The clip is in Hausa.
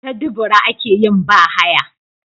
Ta dubura akeyin ba haya